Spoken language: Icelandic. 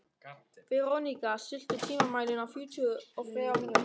Veróníka, stilltu tímamælinn á fjörutíu og þrjár mínútur.